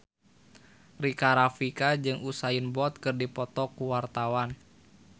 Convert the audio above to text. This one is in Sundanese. Rika Rafika jeung Usain Bolt keur dipoto ku wartawan